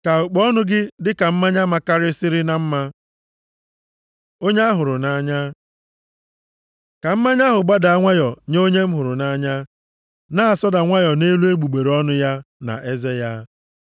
ka okpo ọnụ gị dịka mmanya makarịsịrị na mma. Onye a hụrụ nʼanya Ka mmanya ahụ gbadaa nwayọọ nye onye m hụrụ nʼanya, na-asọda nwayọọ nʼelu egbugbere ọnụ ya na eze ya.